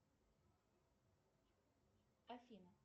афина